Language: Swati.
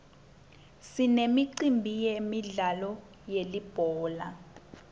sinemicimbi yemidlalo yelibhola